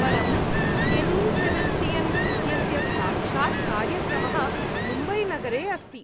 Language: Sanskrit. परं केन्नी सेबेस्टियन् इत्यस्य साक्षात् कार्यक्रमः मुम्बैनगरे अस्ति।